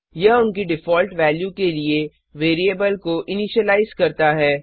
यह उनकी default value के लिए वेरिएबल को इनिशीलाइज करता है